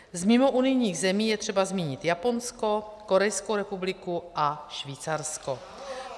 Z mimounijních zemí je třeba zmínit Japonsko, Korejskou republiku a Švýcarsko.